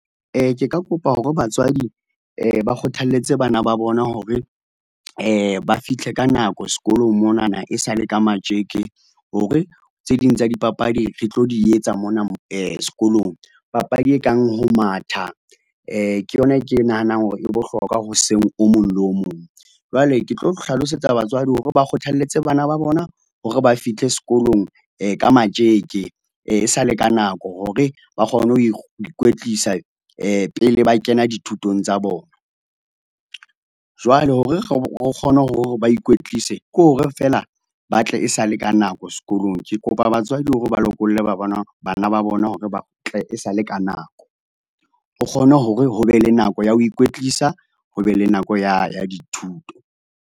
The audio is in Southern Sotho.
Ke ka kopa hore batswadi, ba kgothalletse bana ba bona hore, ba fihle ka nako sekolong monana e sale ka matjeke, hore tse ding tsa dipapadi re tlo di etsa mona sekolong. Papadi e kang ho matha, ke yona e ke e nahanang hore e bohlokwa hoseng o mong le o mong. Jwale ke tlo hlalosetsa batswadi hore ba kgothalletse bana ba bona hore ba fihle sekolong, ka matjeke sa le ka nako hore ba kgone ho, ho ikwetlisa pele ba kena dithutong tsa bona. Jwale hore re re kgone hore ba ikwetlise, ke hore feela ba tle e sa le ka nako sekolong. Ke kopa batswadi hore ba lokolle ba , bana ba bona hore ba tle e sale ka nako. Ho kgone hore ho be le nako ya ho ikwetlisa, ho be le nako ya, ya dithuto.